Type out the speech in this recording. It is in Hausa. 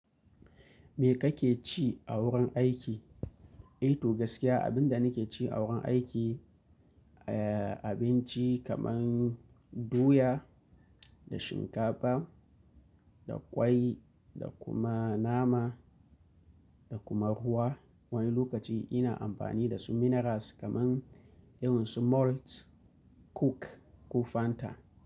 Me kake ci a wurin aiki? To gaskiya, abin da nake ci a wurin aiki, eh abinci kamar doya da shinkafa da ƙwai da kuma nama da kuma ruwa. Wani lokaci ina amfani da su minerals kamar irin su Malt, Coke ko Fanta.